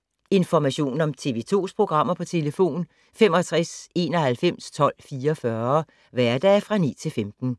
Information om TV 2's programmer: 65 91 12 44, hverdage 9-15.